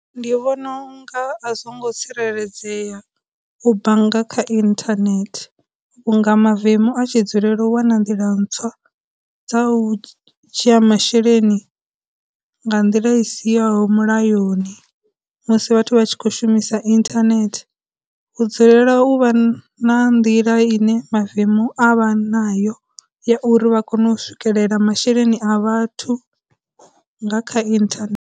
Ndi vhona u nga a zwo ngo tsireledzea u bannga kha internet, vhunga mavemu a tshi dzulela u wana nḓila ntswa dza u dzhia masheleni nga nḓila i sihoho mulayoni musi vhathu vha tshi khou shumisa internet, u dzulela u vha na nḓila ine mavemu a vha nayo ya uri vha kone u swikelela masheleni a vhathu nga kha internet.